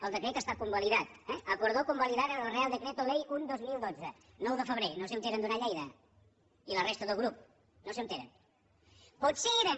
el decret està convalidat eh acordó convalidar el real decreto ley un dos mil dotze nou de febrer no sé on era en duran lleida ni la resta del grup no sé on eren